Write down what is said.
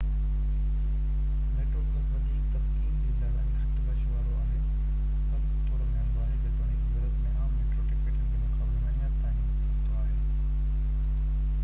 metro plus وڌيڪ تسڪين ڏيندڙ ۽ گهٽ رش وارو آهي پر ٿورو مهانگو آهي جيتوڻڪ يورپ ۾ عام ميٽرو ٽڪيٽن جي مقابلي ۾ اڃا تائين سستو آهي